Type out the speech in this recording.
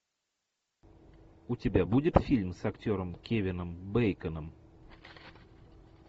у тебя будет фильм с актером кевином бейконом